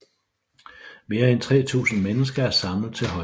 Mere end 3000 mennesker er samlet til højmesse